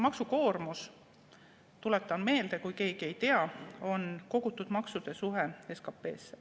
Maksukoormus, tuletan meelde, kui keegi ei tea, on kogutud maksude suhe SKP-ga.